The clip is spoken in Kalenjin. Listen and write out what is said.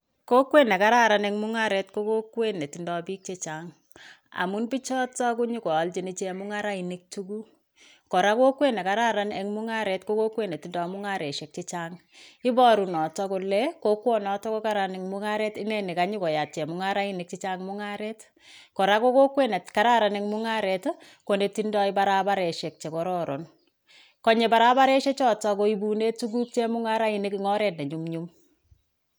Kokwet nekararan en mung'aret ko kokwet netindoo biik chechang, amun bichiton konyokoalchin chemung'arainik tuguk, kora kokwet nekararan en mung'aret kokowet netindoi mung'araisiek chechang iboru noto kole kokwonotok kokaran en mung'aret inei nekanyokyat chemung'arainik chechang' mung'aret ,kora kokokwet nekararan en mung; aret konetindoi barabaresiek chekororon konye barabaresie chotok koibunen chemung; araisiek tuguk en oret nenyumnyum.